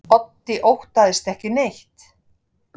Otti óttast ekki neitt!